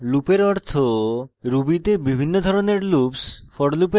loop এর অর্থ ruby তে বিভিন্ন ধরণের loops